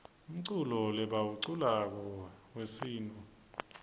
umculo lebauwablako yuesintfu